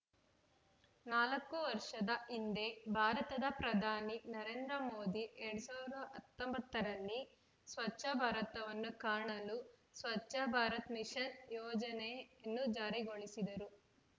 ನಾಲ್ಕು ವರ್ಷದ ಹಿಂದೆ ಭಾರತದ ಪ್ರಧಾನಿ ನರೇಂದ್ರ ಮೋದಿ ಎರಡ್ ಸಾವಿರದ ಹತ್ತೊಂಬತ್ತ ರಲ್ಲಿ ಸ್ವಚ್ಛ ಭಾರತವನ್ನು ಕಾಣಲು ಸ್ವಚ್ಛ ಭಾರತ ಮಿಷನ್‌ ಯೋಜನೆಯನ್ನು ಜಾರಿಗೊಳಿಸಿದರು